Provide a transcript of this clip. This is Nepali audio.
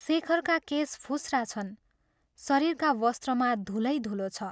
शेखरका केश फुस्रा छन् शरीरका वस्त्रमा धूलै धूलो छ।